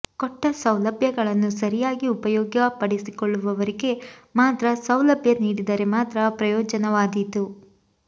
ಕೊಟ್ಟ ಸೌಲಭ್ಯಗಳನ್ನು ಸರಿಯಾಗಿ ಉಪಯೋಗಪಡಿಸಿಕೊಳ್ಳುವವರಿಗೆ ಮಾತ್ರ ಸೌಲಭ್ಯ ನೀಡಿದರೆ ಮಾತ್ರ ಪ್ರಯೋಜನವಾದೀತು